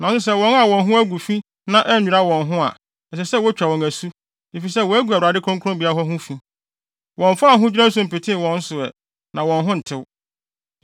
Nanso sɛ wɔn a wɔn ho agu fi na annwira wɔn ho a, ɛsɛ sɛ wotwa wɔn asu, efisɛ wɔagu Awurade kronkronbea hɔ ho fi. Wɔmfaa ahodwira nsu mpetee wɔn so ɛ, na wɔn ho ntew.